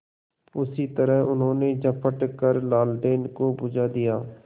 उसी तरह उन्होंने झपट कर लालटेन को बुझा दिया